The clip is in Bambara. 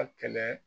A kɛlɛ